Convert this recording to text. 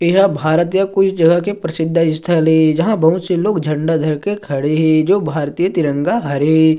यहाँ भारत या कोई जगह के प्रसिद्ध स्थल हे जहा बहुत से लोग झंडा धर के खड़े हे जो भारतीय तिरंगा हरे --